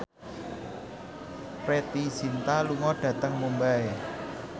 Preity Zinta lunga dhateng Mumbai